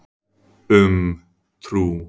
Um trú.